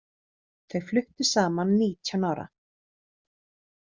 Þau fluttu saman nítján ára.